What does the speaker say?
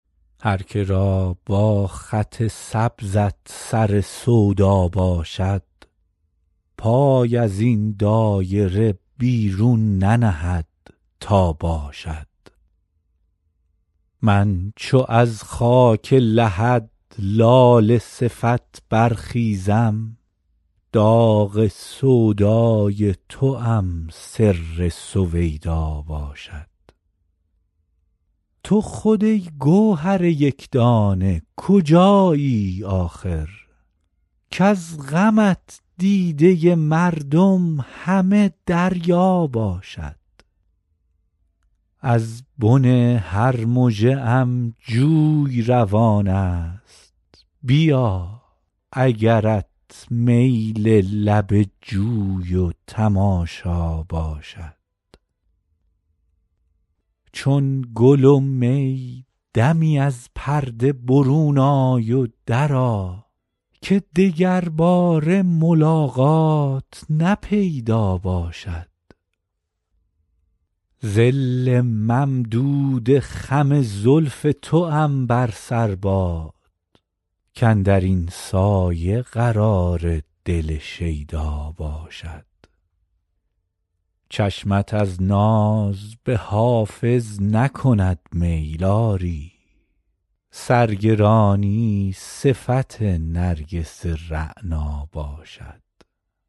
هر که را با خط سبزت سر سودا باشد پای از این دایره بیرون ننهد تا باشد من چو از خاک لحد لاله صفت برخیزم داغ سودای توام سر سویدا باشد تو خود ای گوهر یک دانه کجایی آخر کز غمت دیده مردم همه دریا باشد از بن هر مژه ام آب روان است بیا اگرت میل لب جوی و تماشا باشد چون گل و می دمی از پرده برون آی و درآ که دگرباره ملاقات نه پیدا باشد ظل ممدود خم زلف توام بر سر باد کاندر این سایه قرار دل شیدا باشد چشمت از ناز به حافظ نکند میل آری سرگرانی صفت نرگس رعنا باشد